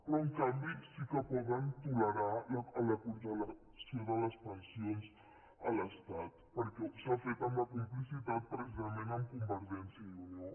però en canvi sí que poden tolerar la congelació de les pensions a l’estat perquè s’ha fet amb la complicitat precisament de convergència i unió